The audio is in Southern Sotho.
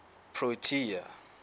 protea